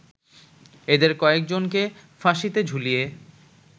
এদের কয়েকজনকে ফাঁসিতে ঝুলিয়ে